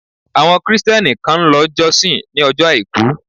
Àwọn Kristẹni kan ń lọ jọ́sìn ni ojo àìkú.